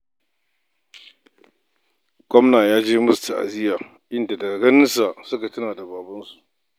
Gwamna ya je yi musu ta'aziya, inda daga ganin sa, suka tuna da babansu.